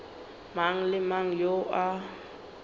mang le mang yo a